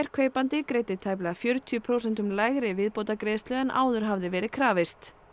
kaupandi greiddi tæplega fjörutíu prósentum lægri viðbótargreiðslu en áður hafði verið krafist